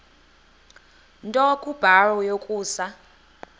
nto kubarrow yokusa